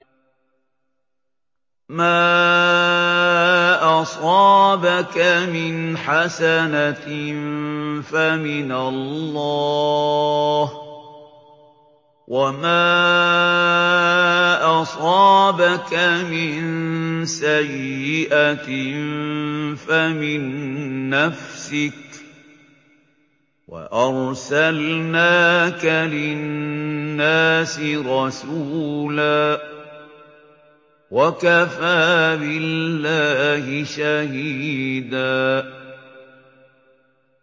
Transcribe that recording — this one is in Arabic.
مَّا أَصَابَكَ مِنْ حَسَنَةٍ فَمِنَ اللَّهِ ۖ وَمَا أَصَابَكَ مِن سَيِّئَةٍ فَمِن نَّفْسِكَ ۚ وَأَرْسَلْنَاكَ لِلنَّاسِ رَسُولًا ۚ وَكَفَىٰ بِاللَّهِ شَهِيدًا